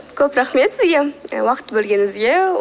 көп рақмет сізге і уақыт бөлгеніңізге